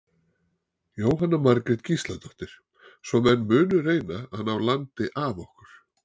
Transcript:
Jóhanna Margrét Gísladóttir: Svo menn munu reyna að ná landi af okkur?